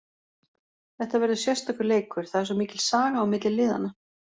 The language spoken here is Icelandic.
Þetta verður sérstakur leikur, það er svo mikil saga á milli liðanna.